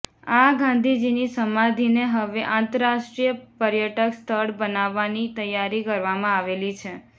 આ ગાંધીજીની સમાધીને હવે આંતરરાષ્ટ્રીય પર્યટક સ્થળ બનાવવાની તૈયારી કરવામાં આવેલી છે